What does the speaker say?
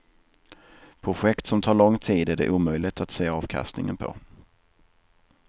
Projekt som tar lång tid är det omöjligt att se avkastningen på.